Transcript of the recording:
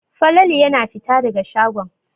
Falalu yana fita daga shagon.